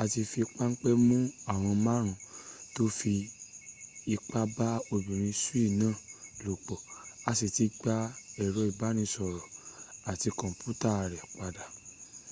a ti fi pánpé mú àwọn márùn tó fi ipá ba´ obìnrin swiss náà lòpọ̀ a si ti gba èrọ ìbánisọ̀rọ̀ àti kọ̀mpútà rẹ padà